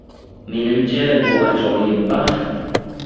Menimcha bu ajoyib baxt.